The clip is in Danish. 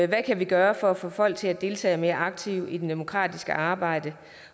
kan vi gøre for at få folk til at deltage mere aktivt i det demokratiske arbejde